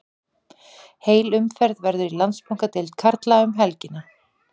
Heil umferð verður í Landsbankadeild karla um helgina.